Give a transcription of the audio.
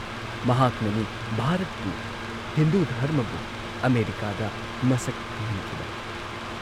ꯃꯍꯥꯛꯅꯅꯤ ꯚꯥꯔꯠꯄꯨ, ꯍꯤꯟꯗꯨ ꯙꯔꯃꯕꯨ ꯑꯃꯦꯔꯤꯀꯥꯗ ꯃꯁꯛ ꯈꯪꯍꯟꯈꯤꯕ!